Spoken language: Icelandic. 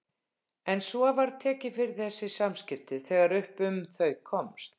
En svo var tekið fyrir þessi samskipti þegar upp um þau komst.